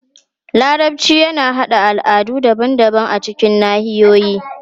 Larabci yana haɗa al'adu daban-daban a cikin nahiyoyi.